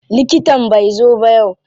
Likitan bai zo ba yau.